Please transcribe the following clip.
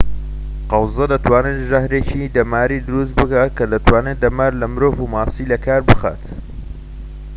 قەوزە دەتوانێت ژەهرێکی دەماری دروست بکات کە دەتوانێت دەمار لە مرۆڤ و ماسی لەکار بخات